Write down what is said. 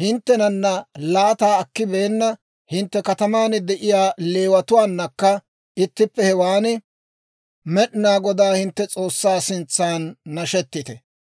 hinttenana laata akkibeenna hintte kataman de'iyaa Leewatuwaanakka ittippe hewan Med'inaa Godaa hintte S'oossaa sintsan nashetite.